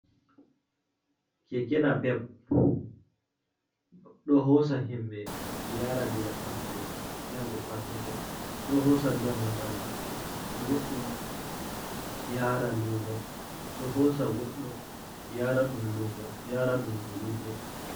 Keke napep ɗo hosa himɓe yara daga pattude yara pattude ɗo hosa dongal goɗɗo yara lumo, ɗo hosa goɗɗo yara ɗum lumo yara dum julurde.